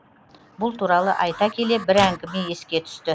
бұл туралы айта келе бір әңгіме еске түсті